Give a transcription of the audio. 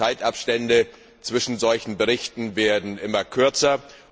Die Zeitabstände zwischen solchen Berichten werden immer kürzer.